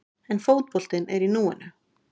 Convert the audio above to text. En fótboltinn er í núinu.